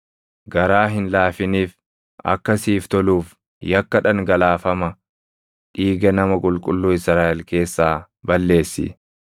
Garaa hin laafiniif; akka siif toluuf yakka dhangalaafama dhiiga nama qulqulluu Israaʼel keessaa balleessi.